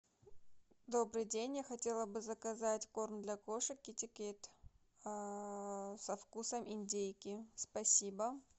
добрый день я хотела бы заказать корм для кошек китекет со вкусом индейки спасибо